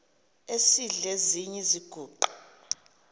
esidl eziny iziguqa